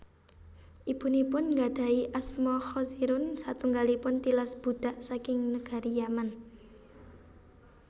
Ibunipun nggadhahi asma Khazirun satunggalipun tilas budhak saking negari Yaman